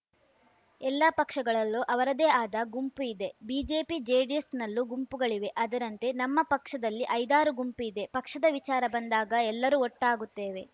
ಎಲ್ಲಾ ಪಕ್ಷಗಳಲ್ಲೂ ಅವರದ್ದೇ ಆದ ಗುಂಪು ಇದೆ ಬಿಜೆಪಿ ಜೆಡಿಎಸ್‌ನಲ್ಲೂ ಗುಂಪುಗಳಿವೆ ಅದರಂತೆ ನಮ್ಮ ಪಕ್ಷದಲ್ಲಿ ಐದಾರು ಗುಂಪು ಇದೆ ಪಕ್ಷದ ವಿಚಾರ ಬಂದಾಗ ಎಲ್ಲರೂ ಒಟ್ಟಾಗುತ್ತೇವೆ